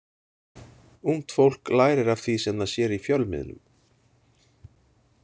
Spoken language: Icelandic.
Ungt fólk lærir af því sem það sér í fjölmiðlum.